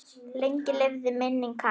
Lengi lifi minning hans.